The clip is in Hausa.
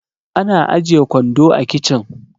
ana ajiye kwando a kicin